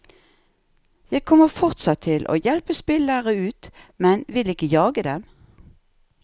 Jeg kommer fortsatt til å hjelpe spillere ut, men vil ikke jage dem.